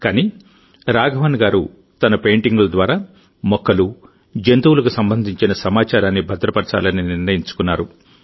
కానీ రాఘవన్ గారు తన పెయింటింగుల ద్వారా మొక్కలు జంతువులకు సంబంధించిన సమాచారాన్ని భద్రపరచాలని నిర్ణయించుకున్నారు